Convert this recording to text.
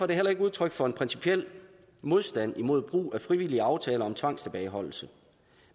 det heller ikke udtryk for en principiel modstand mod brug af frivillige aftaler om tvangstilbageholdelse